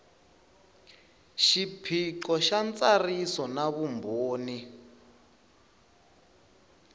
xiphiqo xa ntsariso na vumbhoni